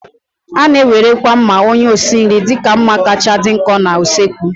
A na-ewerekwa mma onye osi nri dịka mma kacha dị nkọ na usekwu.